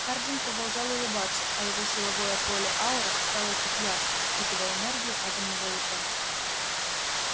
хардин продолжал улыбаться а его силовое поле-аура стало чуть ярче впитывая энергию атомного луча